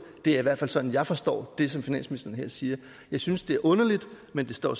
det er i hvert fald sådan jeg forstår det som finansministeren her siger jeg synes det er underligt men det står